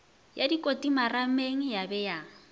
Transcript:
ya dikoti marameng ya be